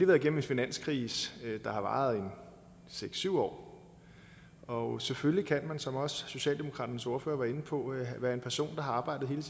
været igennem en finanskrise der varede en seks syv år og selvfølgelig kan man som også socialdemokraternes ordfører var inde på være en person der har arbejdet her